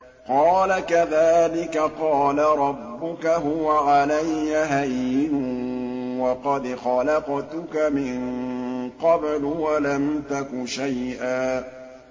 قَالَ كَذَٰلِكَ قَالَ رَبُّكَ هُوَ عَلَيَّ هَيِّنٌ وَقَدْ خَلَقْتُكَ مِن قَبْلُ وَلَمْ تَكُ شَيْئًا